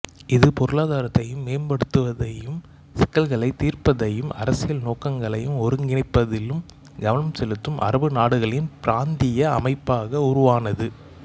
இது பொருளாதாரத்தை மேம்படுத்துவதையும் சிக்கல்களை தீர்ப்பதையும் அரசியல் நோக்கங்களை ஒருங்கிணைப்பதிலும் கவனம் செலுத்தும் அரபு நாடுகளின் பிராந்திய அமைப்பாக உருவானது